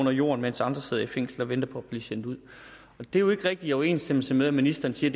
under jorden mens andre sidder fængslet og venter på at blive sendt ud det er jo ikke rigtig i overensstemmelse med at ministeren siger